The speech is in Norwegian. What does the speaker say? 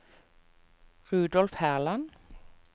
Rudolf Herland